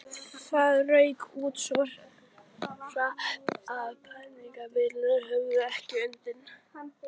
Það rauk út svo hratt, að prentvélarnar höfðu ekki undan.